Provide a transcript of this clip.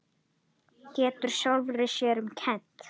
Getur sjálfri sér um kennt.